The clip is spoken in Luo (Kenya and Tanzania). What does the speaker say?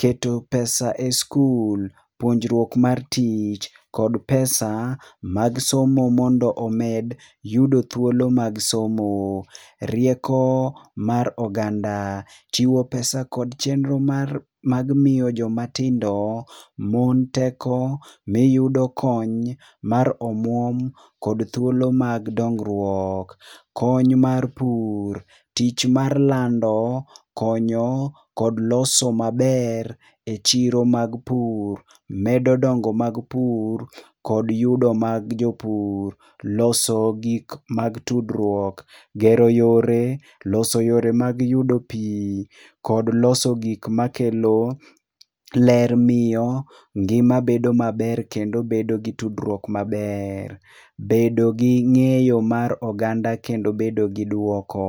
keto pesa e skul, puonjruok mar tich kod pesa mar somo mondo omed yudo thuolo mag somo. Rieko mar oganda, chiwo pesa kod chenro mar, mag miyo jomatindo, mon teko miyudo kony mar omuom kod thuolo mag dongruok. Kony mar pur, tich mar lando, konyo kod loso maber e chiro mag pur medo dongo mag pur kod yudo mag jopur .Loso gik mag tudruok, gero yore, loso yore mag yudo pii kod loso gik makelo ler miyo ngima bedo maber kendo bedogi tudruok maber. Bedo gi ngeyo mar oganda kendo bedo gi duoko